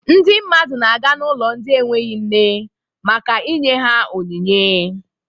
Ndị mmadụ na-aga n'ụlọ ndị enweghi nne maka inye ha onyinye.